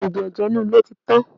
Oògùn ẹ̀jẹ̀ inú ilé ti tán.